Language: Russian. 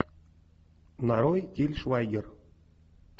нарой тиль швайгер